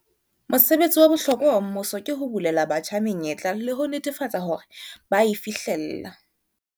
Mosebetsi wa bohlokwa wa mmuso ke ho bulela batjha menyetla le ho netefatsa hore ba a e fihlella.